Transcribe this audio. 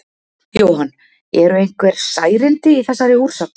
Jóhann: Eru einhver særindi í þessari úrsögn?